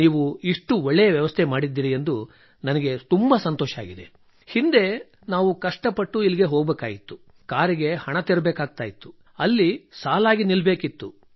ನೀವು ಇಷ್ಟು ಒಳ್ಳೆಯ ವ್ಯವಸ್ಥೆ ಮಾಡಿದ್ದೀರಿ ಎಂದು ನನಗೆ ತುಂಬಾ ಸಂತೋಷವಾಗಿದೆ ಹಿಂದೆ ನಾವು ಕಷ್ಟಪಟ್ಟು ಇಲ್ಲಿಗೆ ಹೋಗಬೇಕಾಗಿತ್ತು ಕಾರಿಗೆ ಹಣ ತೆರಬೇಕಾಗುತ್ತಿತ್ತು ಅಲ್ಲಿ ಸಾಲಾಗಿ ನಿಲ್ಲಬೇಕಿತ್ತು